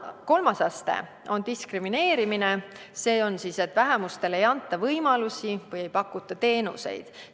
Kolmas aste on diskrimineerimine, see tähendab seda, et vähemusele ei anta võimalusi või ei pakuta neile teenuseid.